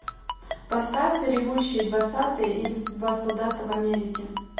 поставь ревущие двадцатые или судьба солдата в америке